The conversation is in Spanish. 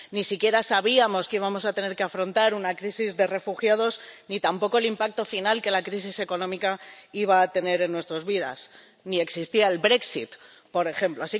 Ni siquiera sabíamos que íbamos a tener que afrontar una crisis de refugiados, ni tampoco el impacto final que la crisis económica iba a tener en nuestras vidas, ni existía el Brexit, por ejemplo.